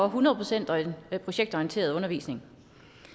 hundrede procent projektorienteret undervisning